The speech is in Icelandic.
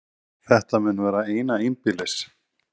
Þetta mun vera eina einbýlis